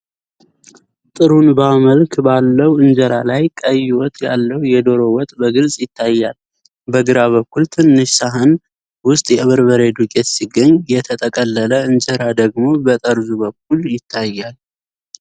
ጥሩንባ መልክ ባለው እንጀራ ላይ ቀይ ወጥ ያለው የዶሮ ወጥ በግልጽ ይታያል። በግራ በኩል ትንሽ ሳህን ውስጥ የበርበሬ ዱቄት ሲገኝ፣ የተጠቀለለ እንጀራ ደግሞ በጠርዙ በኩል ይታያል።